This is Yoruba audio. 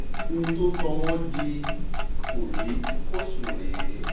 ohun tó sọ wọ́n di kòríkòsùn rèé